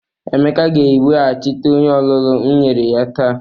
Emeka ga-eweghachite onye olulu m nyere ya taa.